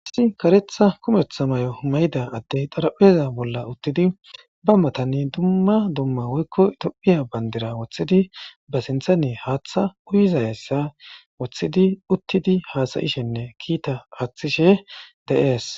Issi karetha kumethaay mayida adey xarapheza bolla uttidi ba matani duma duma woyko tophiya bandira wothidi ba sinthani haatha uyizaysa wothidi uttidi hasa'ishenne kita athishe de', es